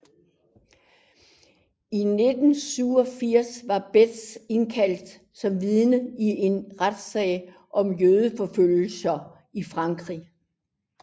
I 1987 var Best indkaldt som vidne i en retssag om jødeforfølgelserne i Frankrig